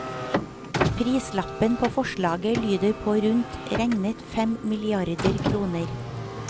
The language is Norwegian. Prislappen på forslaget lyder på rundt regnet fem milliarder kroner.